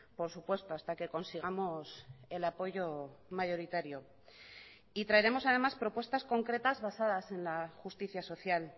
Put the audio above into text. por supuesto hasta que consigamos el apoyo mayoritario y traeremos además propuestas concretas basadas en la justicia social